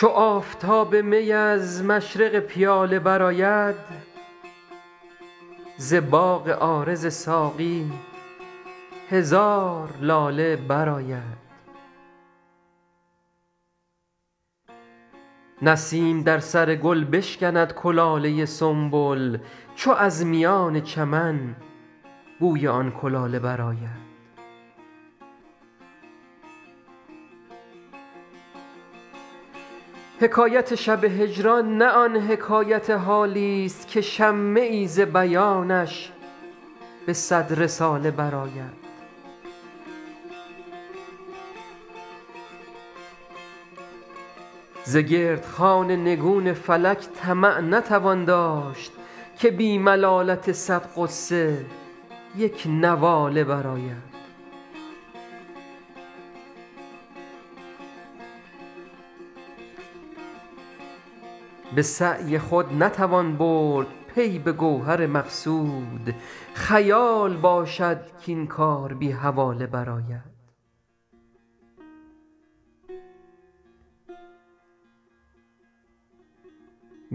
چو آفتاب می از مشرق پیاله برآید ز باغ عارض ساقی هزار لاله برآید نسیم در سر گل بشکند کلاله سنبل چو از میان چمن بوی آن کلاله برآید حکایت شب هجران نه آن حکایت حالیست که شمه ای ز بیانش به صد رساله برآید ز گرد خوان نگون فلک طمع نتوان داشت که بی ملالت صد غصه یک نواله برآید به سعی خود نتوان برد پی به گوهر مقصود خیال باشد کاین کار بی حواله برآید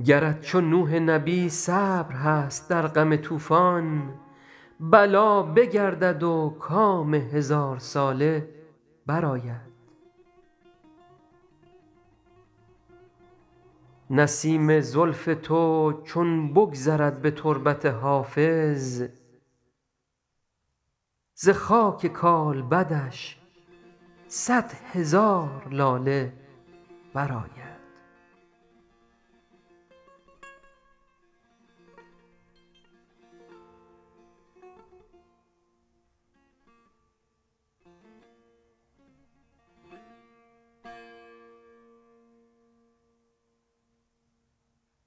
گرت چو نوح نبی صبر هست در غم طوفان بلا بگردد و کام هزارساله برآید نسیم زلف تو چون بگذرد به تربت حافظ ز خاک کالبدش صد هزار لاله برآید